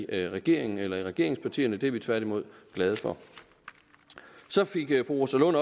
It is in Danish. af i regeringen eller i regeringspartierne det er vi tværtimod glade for fru rosa lund